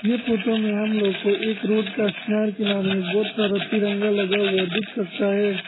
ये फोटो में हम लोग को एक रोड का किनार किनार में बहुत सारा तिरंगा लगा हुआ दिख सकता है।